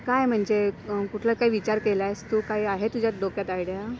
काय म्हणजे, कुठलं काय विचार केलास तू? काय आहे तुझ्या डोक्यात आयडिया?